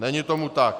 Není tomu tak.